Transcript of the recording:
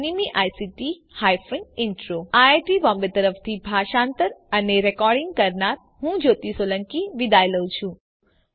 iit Bombay તરફથી spoken tutorial project માટે ભાષાંતર કરનાર હું જ્યોતી સોલંકી વિદાય લઉં છું